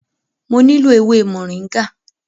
Mo nílò ewé Moringa.